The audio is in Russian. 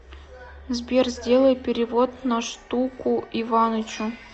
сбер сделай перевод на штуку иванычу